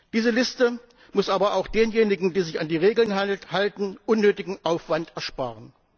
Diese Liste muss aber auch denjenigen, die sich an die Regeln halten, unnötigen Aufwand ersparen.